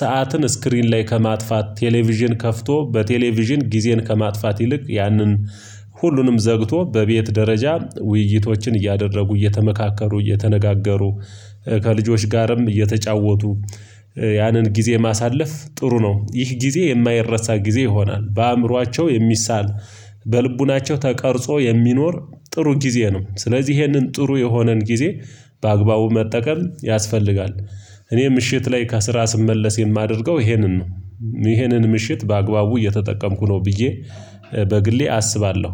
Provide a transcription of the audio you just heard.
ሰዓትን ስክሪን ላይ ከማጥፋት ቴሌቪዥን ከፍቶ በቴሌቪዥን ጊዜን ከማጥፋት ይልቅ ያንን ሁሉንም ዘግቶ በቤት ደረጃ ውይይቶችን እያደረጉ እየተመካከሩ እየተነጋገሩ ከልጆች ጋርም እየተጫወቱ ያንን ጊዜ ማሳለፍ ጥሩ ነው። ይህ ጊዜ የማይረሳ ጊዜ ይሆናል በአእምሯቸው የሚሳል በልቡናቸው ተቀርጾ የሚኖር ጥሩ ጊዜ ነው ስለዚህ ይህንን ጥሩ የሆነን ጊዜ በአግባቡ መጠቀም ያስፈልጋል። እኔ ምሽት ላይ ከስራ ስመለስ የማደርገው ይሄንን ነው ነው ይሄንን ምሽት በአግባቡ እየተጠቀምኩ ነው ብዬ በግሌ አስባለሁ